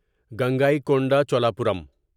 Gangaikonda Cholapuram